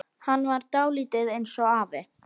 Hann var dálítið eins og afi.